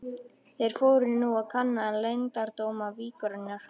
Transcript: Þeir fóru nú að kanna leyndardóma víkurinnar.